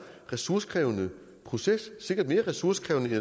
ressourcekrævende proces sikkert mere ressourcekrævende